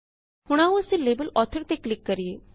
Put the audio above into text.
ਹੁਣ ਆਓ ਅਸੀਂ ਲੇਬਲ ਆਥਰ ਤੇ ਕਲਿਕ ਕਰਿਏ